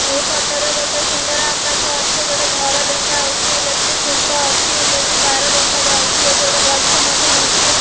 ଏହି ଫଟୋ ରେ ଗୋଟେ ସୁନ୍ଦର ଆକାଶ ଅଛି ଏଠି ଗୋଟେ ଘର ଦେଖାହଉଛି ଇଲେକ୍ଟ୍ରିକ ଖୁଣ୍ଟ ଅଛି ଇଲେକ୍ଟ୍ରି ତାର ଦେଖାଯାଉଚି ଏଠି ଗୋଟେ ଗଛ ମଧ୍ୟ ଅଛି।